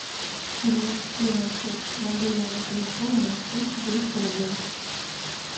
перевести на счет мобильного телефона настюше двести рублей